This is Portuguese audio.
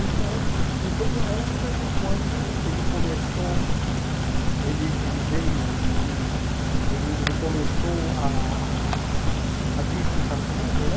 Então, e foi uma época que quando ele começou, ele ele veio, ele ele ele começou ah ah a vir ficar comigo, né?